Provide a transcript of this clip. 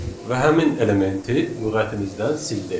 və həmin elementi lüğətimizdən sildi.